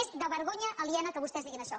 és de vergonya aliena que vostès diguin això